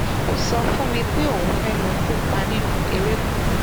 ó sọ fún mi pé òun fẹẹ lọọ kópa nínú eré kan